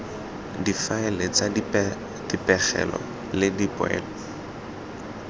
difaele tsa dipegelo le dipoelo